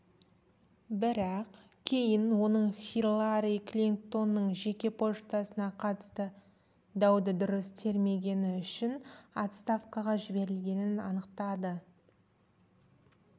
бірақ кейін оның хиллари клинтонның жеке поштасына қатысты дауды дұрыс тергемегені үшін отставкаға жіберілгені анықталды